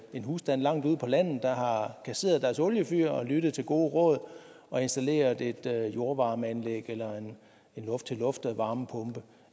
en husstand langt ude på landet der har kasseret deres oliefyr og lyttet til gode råd og installeret et jordvarmeanlæg eller en luft til luft varmepumpe